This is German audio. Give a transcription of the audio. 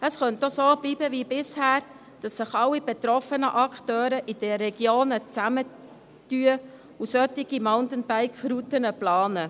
Es könnte auch so bleiben wie bisher, dass sich alle betroffenen Akteure in den Regionen zusammentun und solche Mountainbike-Routen planen.